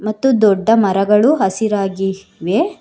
ಅತಿ ದೊಡ್ಡ ಮರಗಳು ಹಸಿರಾಗಿ ಇವೆ.